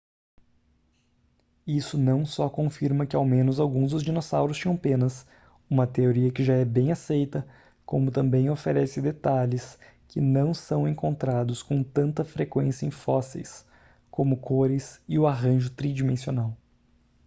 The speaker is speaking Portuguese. isso não só confirma que ao menos alguns dos dinossauros tinham penas uma teoria que já é bem aceita como também oferece detalhes que não são encontrados com tanta frequência em fósseis como cores e o arranjo tridimensional